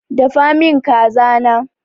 Dafa min kaza na!